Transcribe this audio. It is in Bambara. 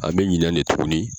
An bɛ ɲinɛn de tugunni.